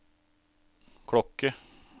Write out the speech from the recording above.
klokke